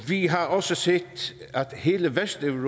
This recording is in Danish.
vi har også set at hele vesteuropa